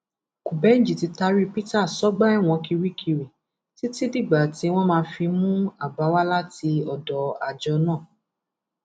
kúbẹnji ti taari peter sọgbà ẹwọn kirikiri títí dìgbà tí wọn máa fi mú àbá wá láti ọdọ àjọ náà